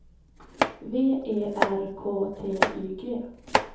V E R K T Y G